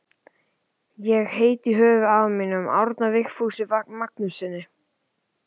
Ég heiti í höfuðið á afa mínum, Árna Vigfúsi Magnússyni.